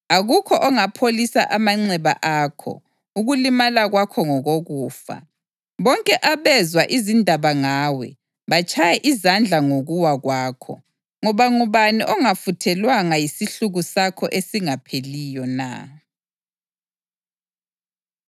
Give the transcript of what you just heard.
Akukho okungapholisa amanxeba akho; ukulimala kwakho ngokokufa. Bonke abezwa izindaba ngawe batshaya izandla ngokuwa kwakho, ngoba ngubani ongafuthelwanga yisihluku sakho esingapheliyo na?